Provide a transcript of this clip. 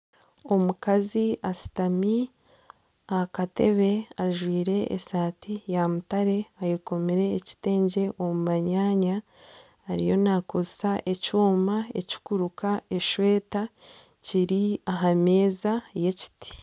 Omukazi ashutami aha katebe. Ajwire esati ya mutare, ayekomire ekitengye omu manyaanya, ariyo nekozesa ekyoma ekikuruka eshweta. Kiri aha meza y'ekiti